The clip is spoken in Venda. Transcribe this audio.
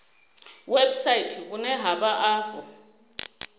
website vhune ha vha afho